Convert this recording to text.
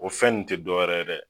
O fɛn nun te dowɛrɛ ye dɛ